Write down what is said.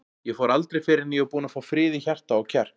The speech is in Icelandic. Ég fór aldrei fyrr en ég var búinn að fá frið í hjarta og kjark.